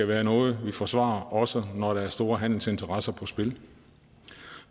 være noget vi forsvarer også når der er store handelsinteresser på spil